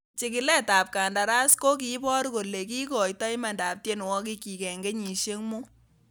Chigiletab kandaras kokibor kole kikoito imandab tienwogikyik en kenyisiek mut.